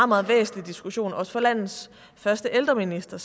meget væsentlig diskussion også for landets første ældreminister